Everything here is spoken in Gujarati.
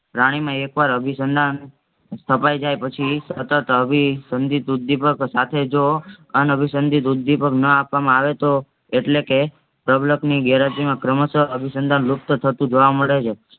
પ્રાણીમાં એકવાર અભિસંધાન સ્થપાઈ જાય પછી સતત અભિસંધિત ઉદ્દીપક સાથે જો અનઅભિસંધિત ઉદ્દીપક ન આપવામાં આવે તો એટલે કે પ્રબલન ની ઘેરહાજરી માં અભિસંધાન લુપ્ત થતું જોવા મળે છે.